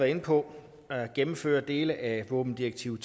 inde på at gennemføre dele af våbendirektiv